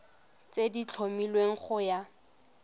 tse di tlhomilweng go ya